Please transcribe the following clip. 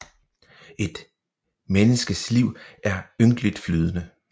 Et menneskets liv er ynkeligt flydende